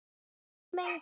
Eins og menn gera.